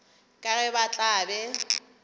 ka ge ba tla be